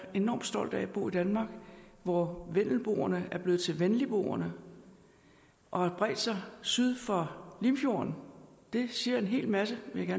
enormt stolt af at bo i danmark hvor vendelboerne er blevet til venligboerne og har bredt sig syd for limfjorden det siger en hel masse vil jeg